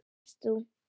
Þannig varst þú.